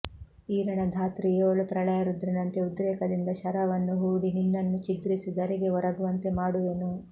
ಈ ರಣ ಧಾತ್ರಿಯೋಳ್ ಪ್ರಳಯ ರುದ್ರನಂತೆ ಉದ್ರೇಕದಿಂದ ಶರವನ್ನು ಹೂಡಿ ನಿನ್ನನ್ನು ಛಿದ್ರಿಸಿ ಧರೆಗೆ ಒರಗುವಂತೆ ಮಾಡುವೆನು